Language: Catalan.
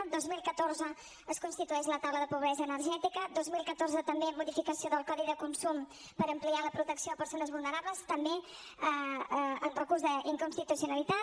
al dos mil catorze es constitueix la taula de la pobresa energètica dos mil catorze també modificació del codi de consum per ampliar la protecció a persones vulnerables també amb recurs d’inconstitucionalitat